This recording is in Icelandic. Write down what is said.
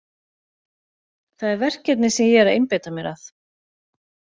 Það er verkefnið sem ég er að einbeita mér að.